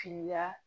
Finiya